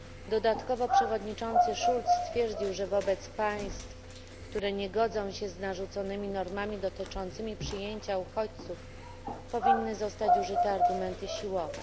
Dodatkowo przewodniczący Schulz stwierdził, że wobec państw, które nie godzą się z narzuconymi normami dotyczącymi przyjęcia uchodźców, powinny zostać użyte argumenty siłowe.